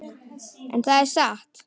En það er satt.